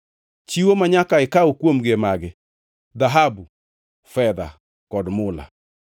“Chiwo manyaka ikaw kuomgi e magi: “dhahabu, fedha kod mula;